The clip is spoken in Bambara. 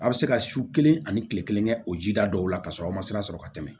A bɛ se ka su kelen ani kile kelen kɛ o ji da dɔw la ka sɔrɔ aw ma sira sɔrɔ ka tɛmɛ